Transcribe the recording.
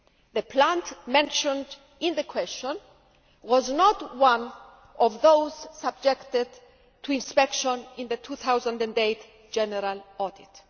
The plant mentioned in the question was not one of those subjected to inspection in the 2008 general audit.